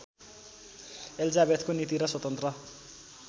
एलिजाबेथको नीति र स्वतन्त्र